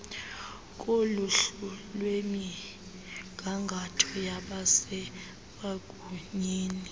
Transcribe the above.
koluhlu lwemigangatho yabasemagunyeni